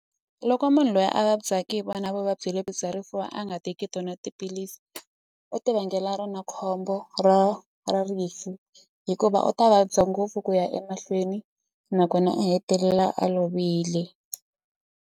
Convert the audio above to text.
Loko munhu loyi a vabyaki hi vona vuvabyi lebyi bya rifuva a nga teki two na tiphilisi u ti vangela rona khombo ra ra rifu hikuva u ta vabya ngopfu ku ya emahlweni nakona u hetelela a lovile.